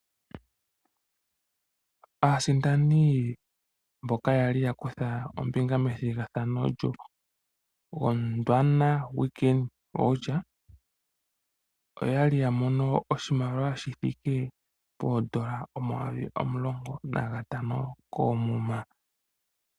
Aasindani mboka yali ya kutha ombinga methigathano lyoGondwana weekend vouchers, oya li yamono oshimaliwa shi thiike poondola omayovi omulongo nagatano koomuma.